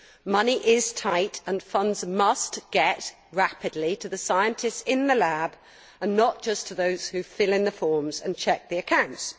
Money is tight and funds must get rapidly to the scientists in the lab, and not just to those who fill in the forms and check the accounts.